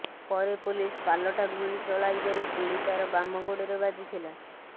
ପରେ ପୋଲିସ ପାଲଟା ଗୁଳି ଚଳାଇବାରୁ ଗୁଳି ତାର ବାମ ଗୋଡରେ ବାଜିଥିଲା